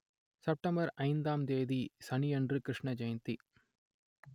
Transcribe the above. September ஐந்தாம் தேதி சனியன்று கிருஷ்ண ஜெயந்தி